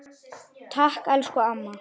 Takk, elsku amma.